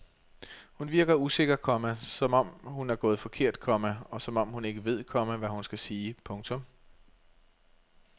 Hun virker usikker, komma som om hun er gået forkert, komma og som om hun ikke ved, komma hvad hun skal sige. punktum